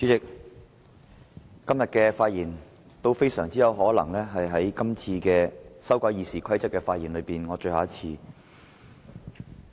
主席，我今天的發言，很有可能是我就修改《議事規則》所作的最後一次發言。